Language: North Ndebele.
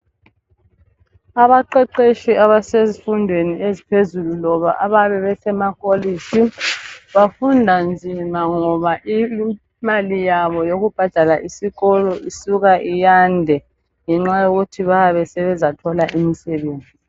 Abaqeqetshi abasezifundweni eziphezulu loba abayabe besemakolitshi bafunda nzima ngoba imali yabo yokubhadala isikolo isuka iyande ngenxa yokuthi bayabe sebezathola imisebenzi